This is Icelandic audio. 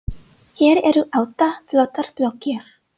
Hér eru átta flottar blokkir.